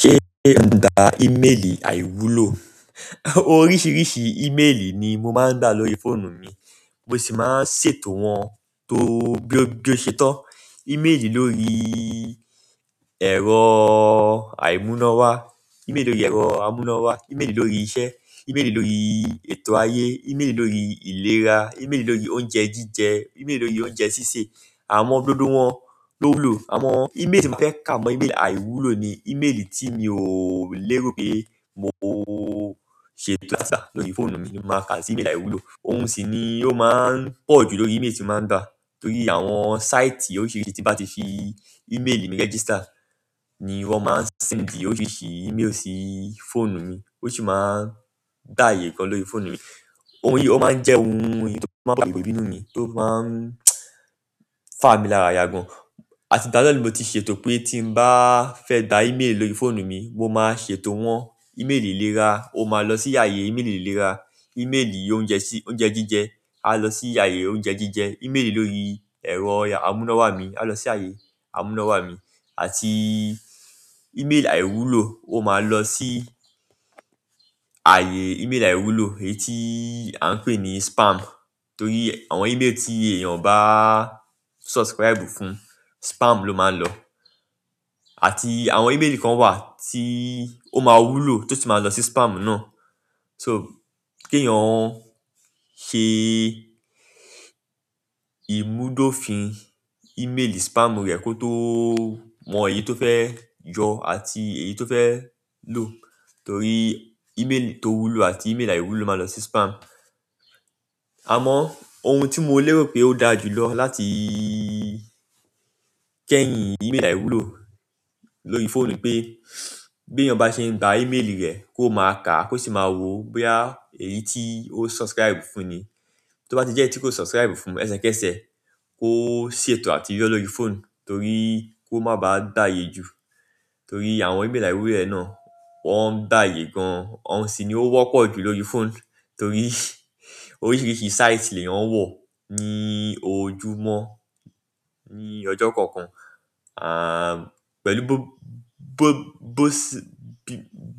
Ṣé ń dà email àìwúlò? Oríṣi email ni mo ma nda lórí fóònù mi, mo si ma n ṣètò won bi o se to email lórí ẹ̀rọ àimúnáwá, email lórí ẹ̀rọ àmúnáwá, email lórí iṣẹ̀, email lórí ètò ayé, email lórí ìlera, email lórí oúnjẹ jíjẹ, email lórí oúnjẹ sísè, àwọn gbogbo wọn ló wúlò. Àwọn email tí mo fẹ́ ká mọ email àìwúlò ni email tí mi ò léèrò pé mo ṣe bukata lórí fóònù mi, mo máa kà sí email àìwúlò. Òun sì ni ó máa ń pọ̀ jù lórí email tí mo máa ń dà. Torí àwọn sáìtì oríṣiríṣi tí mo bá ti fi email mi register ni wọ́n máa ń séǹdì oríṣiríṣi email sí fóònù mi, ó sì máa ń dà ààyè kan lórí fóònù mi. Òun yìí, ó máa ń jẹ́ ohun èyí tó máa ń bo si àpò ìbínú mi, tó máa ń fà mí lára ya gàn. Àti ìgbà náà ti ṣètò pé tí mo bá fẹ́ gbaà email lórí fóònù mi, mo máa ṣètò wọ́n. Email ìlera ó máa lọ sí ààyè email ìlera, email oúnjẹ jíjẹ á lọ sí ààyè oúnjẹ jíjẹ, email lórí ẹ̀rọ àmúnáwá mi á lọ sí ààyè àmúnáwá mi àti email àìwúlò ó máa lọ sí ààyè email àìwúlò, èyí tí à ń pè ní spam. Torí àwọn email tí èèyàn bá subscribe fún, spam ló máa ń lọ. Àti àwọn email nkan wa, ti o ma wúlò to si ma lo si spam náà. So, kí èèyàn ṣe ìmúdófin email spam rẹ̀ kó tó mọ èyí tó fẹ́ yọ àti èyí tó fẹ́ lò. Torí email tó wúlò àti email àìwúlò máa lọ sí spam. Àmọ́ ohun tí mo léèrò pé ó dára jù lọ láti kẹ́yìn email àìwúlò lórí fóònù pé bí èèyàn bá ṣe ń gba email rẹ̀ kó máa kà á kó sì máa wo bóyá èyí tí ó subscribe fún ni. Tí ó bá ti jẹ́ èyí tí kò subscribe fún ẹsẹkẹsẹ kó ṣètò àti yọ lọ́rí fóònù torí kó má ba à gbààyè jù. Torí àwọn email àìwúlò náà wọ́n gbààyè gan-an, ohun sì ni ó wọ́pọ̀ jù lórí fóònù torí oríṣiríṣi sáìtì lèyàn n wọ̀ ní ojúmọ́, ní ọjọ́ kọ̀ọ̀kan, pẹ̀lú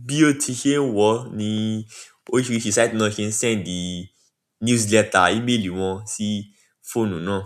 bi o ti ṣe ń wọ̀ ni oríṣiríṣi sáìtì náà ṣe ń séǹdì newsletter email wọn sí fóònù náà.